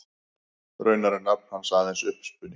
Raunar er nafn hans aðeins uppspuni.